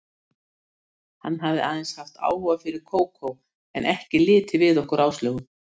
Hann hafði aðeins haft áhuga fyrir Kókó, en ekki litið við okkur Áslaugu.